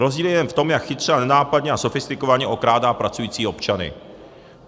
Rozdíl je jen v tom, jak chytře, nenápadně a sofistikovaně okrádá pracující občany.